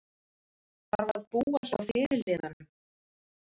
Þarf að búa hjá fyrirliðanum